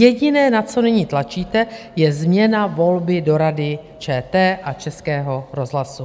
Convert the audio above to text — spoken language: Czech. Jediné, na co nyní tlačíte, je změna volby do Rady ČT a Českého rozhlasu.